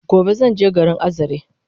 Gobe zanje garin Azare